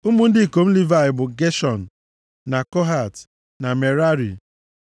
Ụmụ ndị ikom Livayị bụ, Geshọn, na Kohat, na Merari.